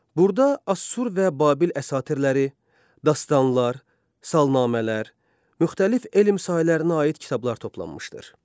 Burada Assur və Babil əsatirləri, dastanlar, salnamələr, müxtəlif elm sahələrinə aid kitablar toplanmışdır.